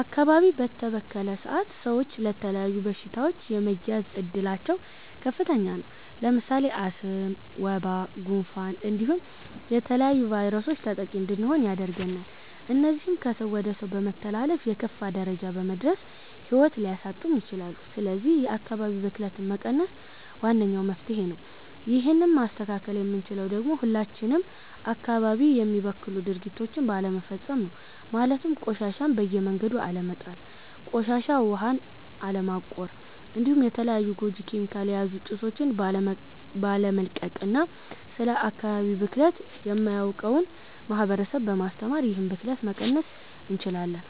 አካባቢ በተበከለ ሰአት ሰወች ለተለያዩ በሺታወች የመያዝ እድላቸው ከፍተኛ ነው። ለምሳሌ አስም፣ ወባ፣ ጉንፋን እንዲሁም ለተለያዩ ቫይረሶች ተጠቂ እንድንሆን ያደርገናል እነዚህም ከ ሰው ወደ ሰው በመተላለፍ የከፋ ደረጃ በመድረስ ሂዎት ሊያሳጡም ይችላሉ ስለዚህ የ አካባቢ ብክለትን መቀነስ ዋነኛው መፍትሄ ነው ይህን ማስተካከል የምንችለው ደግሞ ሁላችንም አካባቢ የሚበክሉ ድርጊቶችን ባለመፈፀም ነው ማለትም ቆሻሻን በየመንገዱ አለመጣል፣ ቆሻሻ ዉሀን አለማቆር እንዲሁም የተለያዩ ጎጂ ኬሚካል የያዙ ጭሶቺን ባለመልቀቅ እና ስለ አካባቢ ብክለት የማያውቀውን ማህበረሰብ በማስተማር ይህንን ብክለት መቀነስ እንችላለን።